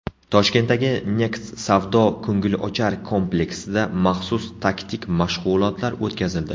Toshkentdagi Next savdo-ko‘ngilochar kompleksida maxsus taktik mashg‘ulotlar o‘tkazildi.